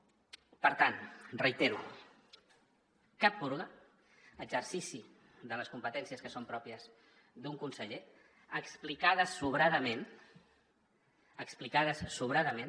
per tant ho reitero cap purga exercici de les competències que són pròpies d’un conseller explicades sobradament explicades sobradament